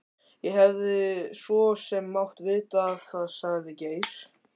Ég hefði svo sem mátt vita það sagði Geir.